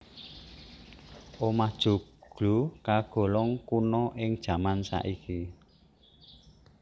Omah joglo kagolong kuna ing jaman saiki